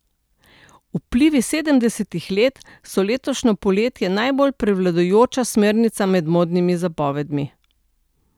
Vplivi sedemdesetih let so letošnje poletje najbolj prevladujoča smernica med modnimi zapovedmi.